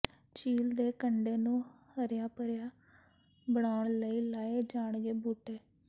ਝੀਲ ਦੇ ਕੰਢੇ ਨੂੰ ਹਰਿਆ ਭਰਿਆ ਬਣਾਉਣ ਲਈ ਲਾਏ ਜਾਣਗੇ ਬੂਟੇ